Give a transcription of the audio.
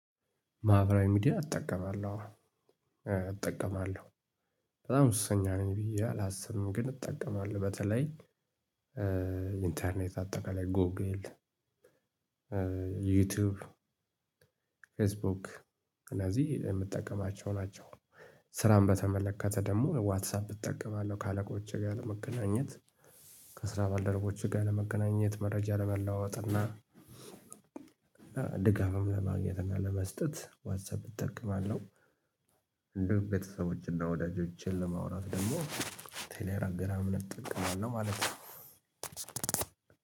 ማህበራዊ ሚዲያ እጠቀማለሁ እጠቀማለሁ በጣም ሱሰኛ ነኝ ብዬ አላስብም። ግን እጠቀማለሁ በተለይ ኢንተርኔት አጠቃላይ ጎግል ዩቲዩብ ፌስቡክ እነዚህ የምጠቀማቸው ናቸው። ስራን በተመለከተ ደግሞ ዋትሳፕ እጠቀማለሁ ከአለቆቼ ጋር ለመገናኘት ከስራ ባልደረቦቼ ጋር ለመገናኘት መረጃ ለመለዋወጥ እና ድጋፍም ለማግኘት እና ለመስጠት ዋትሳፕ እጠቀማለሁ። እንዲሁም ቤተሰቦችና ወዳጆቼን ለማውራት ደግሞ ቴሌግራምን እጠቀማለው ማለት ነው።